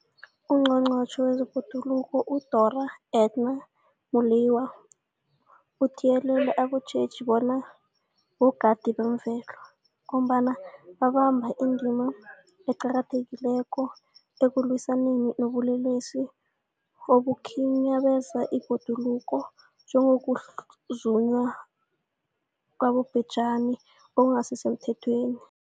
UNgqongqotjhe wezeBhoduluko uDorh Edna Molewa uthiyelele abatjheji bona bogadi bezemvelo, ngombana babamba indima eqakathekileko ekulwisaneni nobulelesi obukhinyabeza ibhoduluko, njengokuzunywa kwabobhejani okungasisemthethweni.